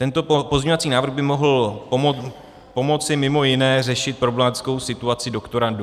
Tento pozměňovací návrh by mohl pomoci mimo jiné řešit problematickou situaci doktorandů.